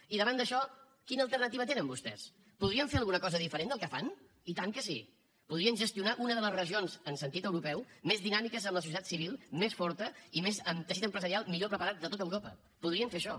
i davant d’això quina alternativa tenen vostès podrien fer alguna cosa diferent del que fan i tant que sí podrien gestionar una de les regions en sentit europeu més dinàmiques amb la societat civil més forta i amb el teixit empresarial millor preparat de tot europa podrien fer això